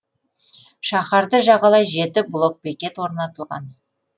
шаһарды жағалай жеті блокбекет орнатылған